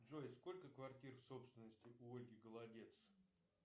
джой сколько квартир в собственности у ольги голодец